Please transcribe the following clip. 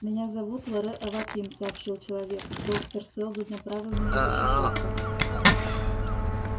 меня зовут лоре аваким сообщил человек доктор сэлдон направил меня защищать вас